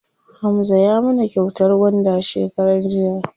Hamza ya mana kyautar gwanda shekaran jiya.